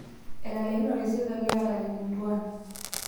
Etalakinote serikali ataret intuan